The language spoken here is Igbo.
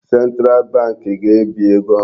Central bank ga-ebi ego ohụrụ.